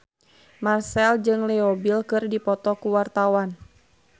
Marchell jeung Leo Bill keur dipoto ku wartawan